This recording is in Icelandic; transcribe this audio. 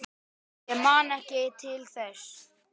Ég man ekki til þess.